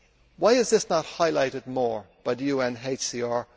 Why is this not highlighted more by the UNHCR?